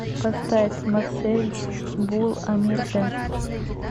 поставь марсель бул омирде